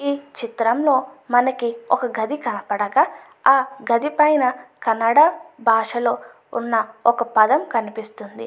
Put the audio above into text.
ఈ చిత్రంలో మనకీ ఒక గది కనపడగా ఆ గది పైన కన్నడ భాషలో ఉన్న ఒక పదం కనిపిస్తుంది.